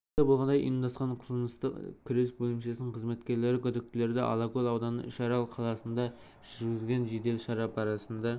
белгілі болғандай ұйымдасқан қылмыспен күрес бөлімшесінің қызметкерлері күдіктілерді алакөл ауданы үшарал қаласында жүргізген жедел шара барысында